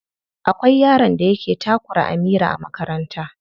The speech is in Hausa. Akwai yaron da yake takura Amira a makaranta.